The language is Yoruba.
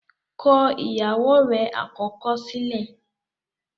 kọ ìyàwó rẹ̀ àkọ́kọ́ sílẹ̀!